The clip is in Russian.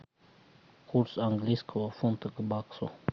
курс английского фунта к баксу